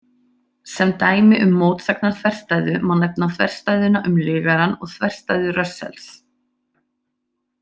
Sem dæmi um mótsagnarþverstæðu má nefna þverstæðuna um lygarann og þverstæðu Russells.